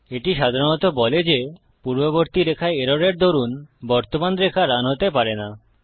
এটি সাধারণত বলে যে পূর্ববর্তী রেখায় এররের দরুন বর্তমান রেখা রান হতে পারে না